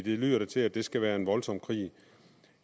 lyder da til at det skal være en voldsom krig